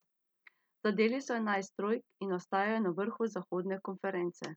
Zadeli so enajst trojk in ostajajo na vrhu zahodne konference.